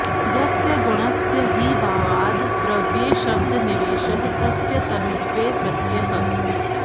यस्य गुणस्य हि भावाद् द्रव्ये शब्दनिवेशः तस्य तनुत्वे प्रत्ययः